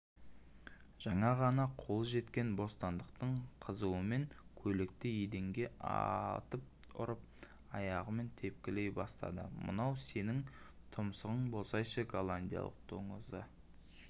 жаңа ғана қолы жеткен бостандықтың қызуымен көйлекті еденге атып ұрып аяғымен тепкілей бастадымынау сенің тұмсығың болсайшы голландияның доңызы